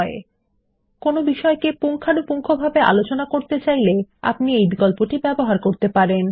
পরবর্তী বিষয়ে যাওয়ার আগে কোনো বিষয়ে পুঙ্খানুপুঙ্খভাবে আলোচনা করতে চাইলে তখন আপনি এই বিকল্পটি ব্যবহার করতে পারেন